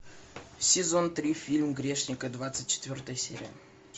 сезон три фильм грешники двадцать четвертая серия